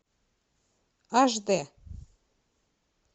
аш дэ